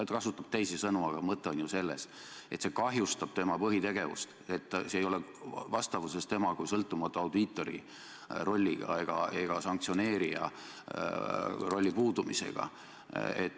Ta kasutab küll teisi sõnu, aga mõte on ju selles, et see kahjustab tema põhitegevust, see ei ole vastavuses tema kui sõltumatu audiitori rolliga või sanktsioneerija rolli puudumisega.